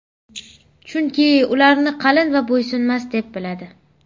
Chunki ularni qalin va bo‘ysunmas deb biladi.